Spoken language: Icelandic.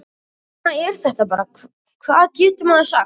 Svona er þetta bara, hvað getur maður sagt?